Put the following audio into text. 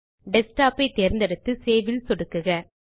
desktop ஐ தேர்ந்தெடுத்து save ல் சொடுக்குக